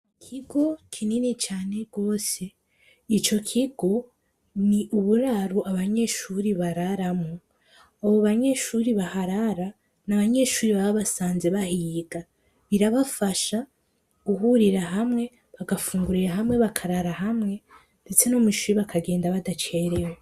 kigo kinini cyane rwose icyo kigo ni uburaru abanyeshuri bararamu abo banyeshuri baharara n'abanyeshuri bababasanze bahiyga birabafasha guhurira hamwe bagafungurira hamwe bakarara hamwe ndetse no mu ishuri bakagenda badacerewe